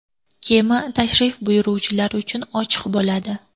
Kema tashrif buyuruvchilar uchun ochiq bo‘ladi.